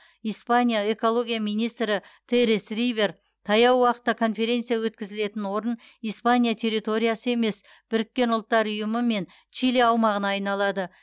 испания экология министрі терес рибер таяу уақытта конференция өткізілетін орын испания территориясы емес біріккен ұлттар ұйымы мен чили аумағына айналады